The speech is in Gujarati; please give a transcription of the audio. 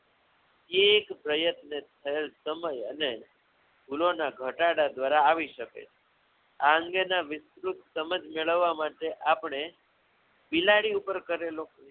એક પ્રયત્ન થયેલ સમય અને ભૂલો ના ઘટાડા દ્વારા આવી શકે છે આ અંગેના વિસ્તૃત સમજ મેળવા માટે આપણે બિલાડી ઉપર કરેલો